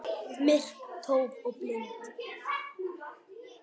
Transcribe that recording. Myrk og tóm og blind.